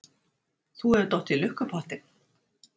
Þú hefur dottið í lukkupottinn.